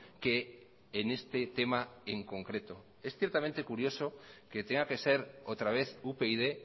que en este tema en concreto es ciertamente curioso que tenga que ser otra vez upyd